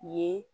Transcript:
Ye